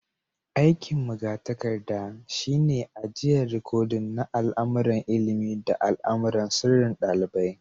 Aiki'n magatarkada shine ajian rikodin na al'amuran ilimi da al'amuran sirrin dalibai.